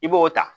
I b'o ta